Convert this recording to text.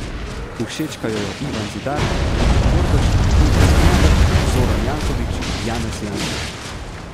Všečkajo jo Ivan Zidar, Bine Kordež, Ivo Sanader, Zoran Janković, Janez Janša.